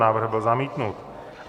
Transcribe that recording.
Návrh byl zamítnut.